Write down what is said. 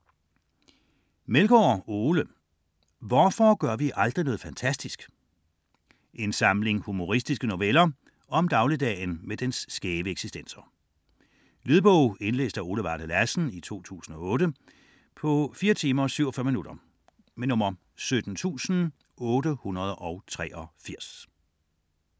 Meldgård, Ole: Hvorfor gør vi aldrig noget fantastisk? En samling humoristiske noveller om dagligdagen med dens skæve eksistenser. Lydbog 17883 Indlæst af Ole Varde Lassen, 2008. Spilletid: 4 timer, 47 minutter.